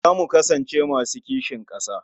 Za mu kasance masu kishin ƙasa.